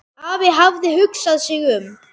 Afi hafði hugsað sig um.